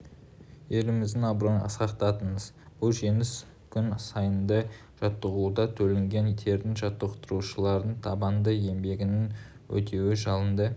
еліміздің абыройын асқақтаттыңыз бұл жеңіс күн сайынғы жаттығуда төгілген тердің жаттықтырушылардың табанды еңбегінің өтеуі жалынды